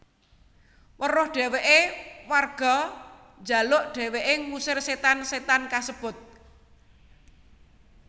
Weruh dheweke warga njaluk dheweke ngusir setan setan kasebut